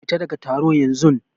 Fita ɗaga taro yanzun!